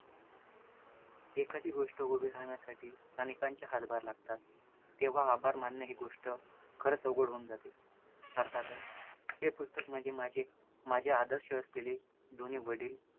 एखादी गोष्ट उभी राहण्यासाठी अनेकांचे हातभार लागतात, तेव्हा आभार मानणं ही गोष्ट खरंच अवघड होऊन जाते, अर्थातच हे पुस्तक म्हणजे माझे माझ्या आदर्श असलेले दोन्ही वडिल